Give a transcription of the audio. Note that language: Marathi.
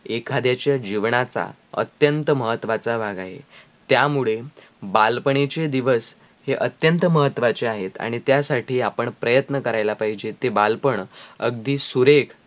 एखाद्याचा जीवनाचा अत्यंत महत्वाचा भाग आहे त्या मुळे बालपणीचे दिवस हे अत्यंत महत्वाचे आहेत आणी त्यासाठी आपण प्रयत्न करायला पाहिजे ते बालपण अगदी सुरेख